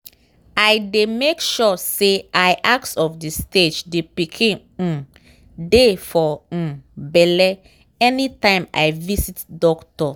i dey make sure say i ask of the stage the pikin um dey for um belle anytime i visit doctor.